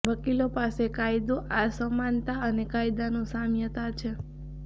વકીલો પાસે કાયદો આ સમાનતા અને કાયદાનું સામ્યતા છે